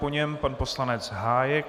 Po něm pan poslanec Hájek.